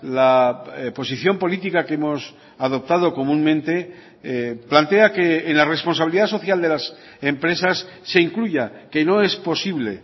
la posición política que hemos adoptado comúnmente plantea que en la responsabilidad social de las empresas se incluya que no es posible